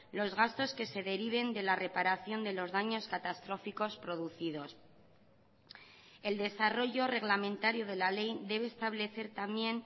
los gastos que se deriven de la reparación de los daños catastróficos producidos el desarrollo reglamentario de la ley debe establecer también